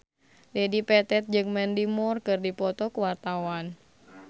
Dedi Petet jeung Mandy Moore keur dipoto ku wartawan